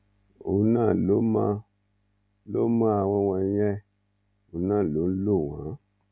òun náà ló mọ ló mọ àwọn wọ̀nyẹn òun náà ló ń lò wọ́n